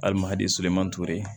Hali mahadi seman ture